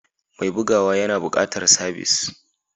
Mai bugawa yana buƙatar sabis.